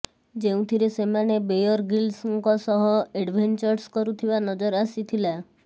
ଯେଉଁଥିରେ ସେମାନେ ବେୟର ଗ୍ରୀଲ୍ସଙ୍କ ସହ ଏଡଭେଞ୍ଚର୍ସ କରୁଥିବା ନଜର ଆସିଥିଲା